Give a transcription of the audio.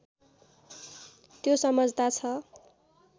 त्यो समझता छ